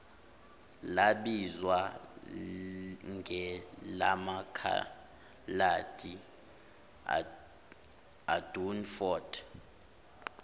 labizwa ngelamakhaladi idunford